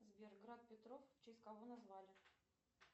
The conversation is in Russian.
сбер град петров в честь кого назвали